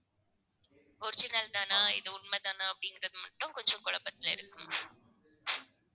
original தானா இது உண்மைதானா அப்படிங்கறது மட்டும் கொஞ்சம் குழப்பத்துல இருக்கு ma'am